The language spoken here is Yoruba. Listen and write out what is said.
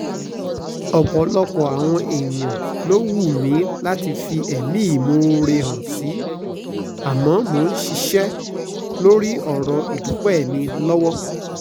ọ̀pọ̀lọpọ̀ àwọn èèyàn ló wù mí láti fẹ̀mí ìmoore hàn sí àmọ́ mò ń ṣiṣẹ́ lórí ọ̀rọ̀ ìdúpẹ́ mi lọ́wọ́